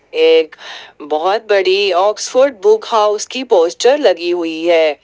एक बहुत बड़ी ऑक्सफोर्ड बुक हाउस की पोस्टर लगी हुई है।